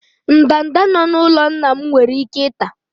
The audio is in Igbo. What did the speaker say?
ndanda nọ n'ụlọ nna m nwere ike ịta